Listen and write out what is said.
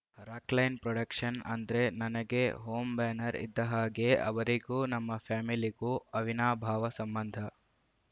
Rockline production ಅಂದ್ರೆ ನನಗೆ home banner ಇದ್ದ ಹಾಗೆ ಅವರಿಗೂ ನಮ್ಮ ಫ್ಯಾಮಿಲಿಗೂ ಅವಿನಾಭಾವ ಸಂಬಂಧ